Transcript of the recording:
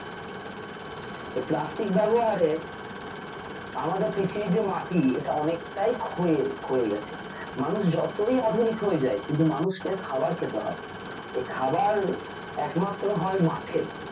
যে plastic ব্যবহারে আমাদের পৃথিবীর যে মাটি এটা অনেকটাই ক্ষয়ে ক্ষয়ে গেছে ।মানুষ যতই আধুনিক হয়ে যাক কিন্তু মানুষ কে খাবার খেতে হয় ।এ খাবার একমাত্র হয় মাঠে